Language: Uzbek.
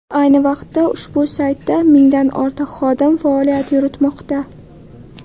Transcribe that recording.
Ayni vaqtda ushbu saytda mingdan ortiq xodim faoliyat yuritmoqda.